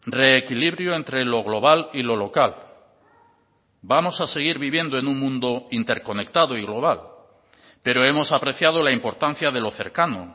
reequilibrio entre lo global y lo local vamos a seguir viviendo en un mundo interconectado y global pero hemos apreciado la importancia de lo cercano